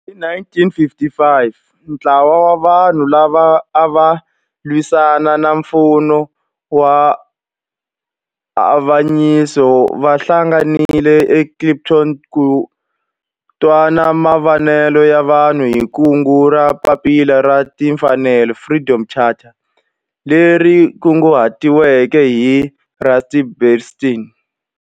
Hi 1955 ntlawa wa vanhu lava ava lwisana na nfumo wa avanyiso va hlanganile eKliptown ku twa mavonelo ya vanhu hi kungu ra Papila ra Tinfanelo, Freedom Charter leri kunguhatiweke hi Rusty Bernstein.